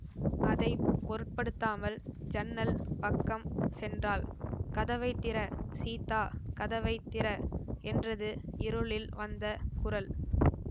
அதை பொருட்படுத்தாமல் ஜன்னல் பக்கம் சென்றாள் கதவை திற சீதா கதவை திற என்றது இருளில் வந்த குரல்